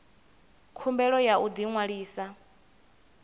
khumbelo ya u ḓi ṅwalisa